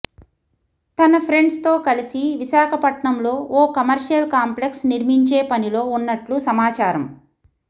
తన ఫెండ్స్ తో కలసి విశాకపట్నం లో ఓ కమర్షియల్ కాంప్లెక్స్ నిర్మించే పనిలో ఉన్నట్లు సమాచారం